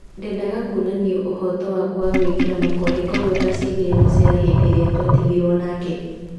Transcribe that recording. Ndendaga kuonania ũhoto wakwa na gũĩkĩra mũkonde koguo ndacengire Masera hĩndĩ ĩrĩa tũatigirwo nake."